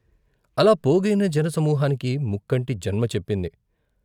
అలా పోగయిన జనసమూకానికి ముక్కంటి జన్మ చెప్పింది.